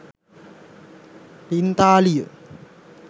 පිංතාලිය